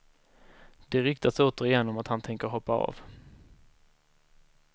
Det ryktas återigen om att han tänker hoppa av.